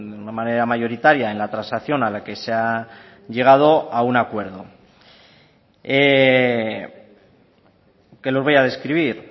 una manera mayoritaria en la transacción a la que se ha llegado a un acuerdo que los voy a describir